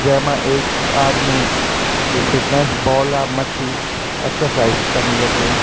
जैमा एक आदमी ये फिटनेस बॉल अ मथ्थी एक्सरसाइज कनु लग्युं।